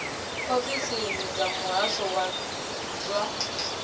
ofisini dza muhasho wa zwa